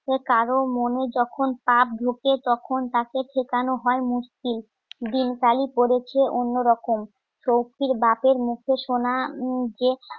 সে কারোর মনে যখন পাপ ঢোকে, তখন তাকে শেখানো হয় মুশকিল দিনকালে পড়েছে অন্যরকম শক্তির বাকের মুখে সোনা যেকালে